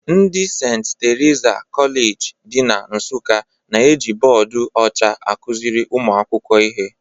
Ndị St. Teresa Kọleji dị na Nsụka na-eji bọọdụ ọcha akụziri ụmụ akwụkwọ ihe